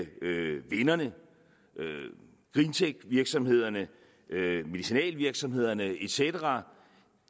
vinderne greentechvirksomhederne medicinalvirksomhederne et cetera